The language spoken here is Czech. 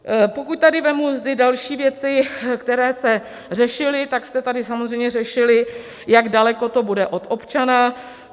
Pokud tady vezmu ty další věci, které se řešily, tak jste tady samozřejmě řešili, jak daleko to bude od občana.